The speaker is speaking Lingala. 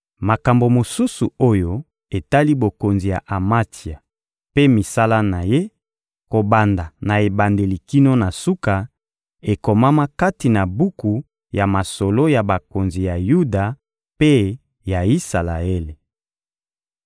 Makambo mosusu oyo etali bokonzi ya Amatsia mpe misala na ye, kobanda na ebandeli kino na suka, ekomama kati na buku ya masolo ya bakonzi ya Yuda mpe ya Isalaele.